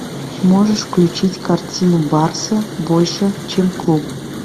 можешь включить картину барса больше чем клуб